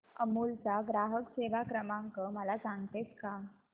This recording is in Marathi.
अमूल चा ग्राहक सेवा क्रमांक मला सांगतेस का